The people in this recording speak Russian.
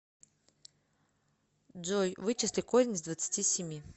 джой вычисли корень из двадцати семи